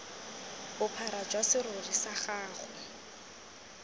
bophara jwa serori sa gago